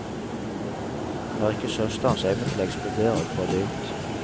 Han han har ikke søsterens evne til å eksplodere og få det ut.